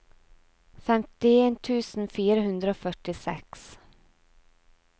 femtien tusen fire hundre og førtiseks